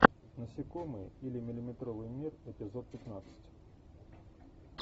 насекомые или миллиметровый мир эпизод пятнадцать